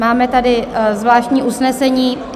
Máme tady zvláštní usnesení.